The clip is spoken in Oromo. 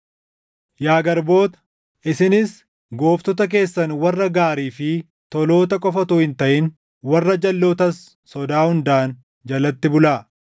Yaa garboota, isinis gooftota keessan warra gaarii fi toloota qofa utuu hin taʼin warra jalʼootas sodaa hundaan jalatti bulaa.